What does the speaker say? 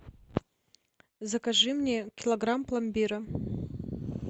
закажи мне килограмм пломбира